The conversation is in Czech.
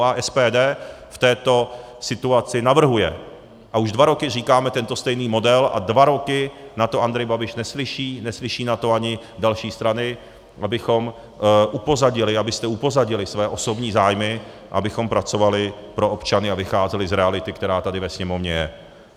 A SPD v této situaci navrhuje a už dva roky říkáme tento stejný model a dva roky na to Andrej Babiš neslyší, neslyší na to ani další strany, abychom upozadili, abyste upozadili své osobní zájmy, abychom pracovali pro občany a vycházeli z reality, která tady ve Sněmovně je.